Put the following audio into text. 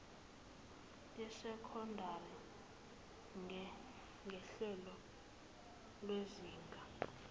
lesekondari nguhlelo lwezinga